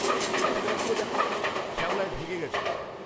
ওই পিলারগুলো দেখো। শ্যাওলায় ঢেকে গেছে পুরো।